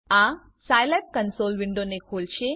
આ Scilab console વિન્ડોને ખોલશે